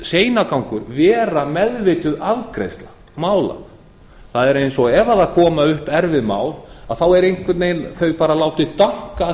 seinagangur vera meðvituð afgreiðsla mála það er eins og ef koma upp erfið mál þá er einhvern veginn látið danka að